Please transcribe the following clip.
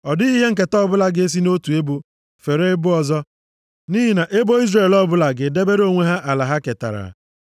Ọ dịghị ihe nketa ọbụla ga-esi nʼotu ebo feere ebo ọzọ. Nʼihi na ebo Izrel ọbụla ga-edebere onwe ha ala ha ketara.”